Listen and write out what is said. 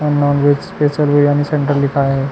अउ non veg special biryani centre लिखाए हे।